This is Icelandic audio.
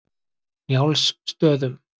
Njálsstöðum